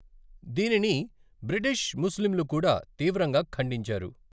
దీనిని బ్రిటిష్ ముస్లింలు కూడా తీవ్రంగా ఖండించారు.